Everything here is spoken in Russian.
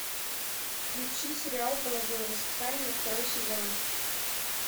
включи сериал половое воспитание второй сезон